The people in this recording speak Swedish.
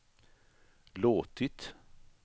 låtit